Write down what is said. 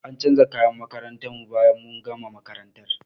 An canja kayan makarantar mu bayan mun gama makarantar.